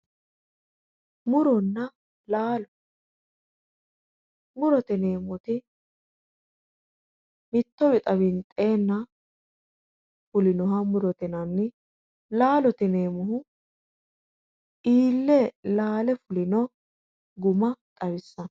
Muronna laalo, murote yineemmoti mitto wixa winxenna fulinoha murote yinnanni, laalote yineemmohu iille laale fulinno guma xawisanno.